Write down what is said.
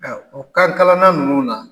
o kan kalanana ninnu na